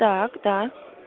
так да